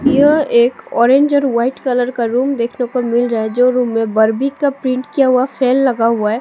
यह एक ऑरेंज और वाइट कलर का रूम देखने को मिल रहा है जो रूम में बार्बी का प्रिंट किया हुआ फेन लगा हुआ है।